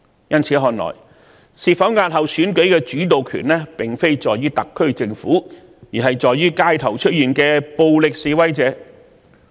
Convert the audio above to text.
由此看來，是否押後選舉的主導權並不在特區政府手上，而是取決於街頭的暴力示威者。